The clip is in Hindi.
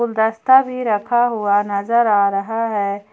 गुलदस्ता भी रखा हुआ नजर आ रहा है।